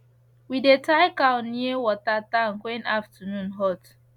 we dey tie cow near water tank when afternoon hot